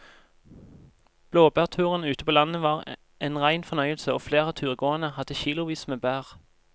Blåbærturen ute på landet var en rein fornøyelse og flere av turgåerene hadde kilosvis med bær.